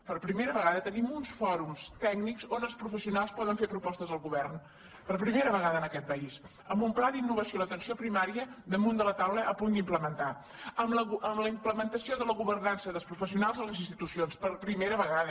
per primera vegada tenim uns fòrums tèc·nics on els professionals poden fer propostes al govern per primera vegada en aquest país amb un pla d’innova·ció a l’atenció primària damunt de la taula a punt d’im·plementar amb la implementació de la governança dels professionals en les institucions per primera vegada